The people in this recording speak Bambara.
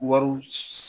Wariw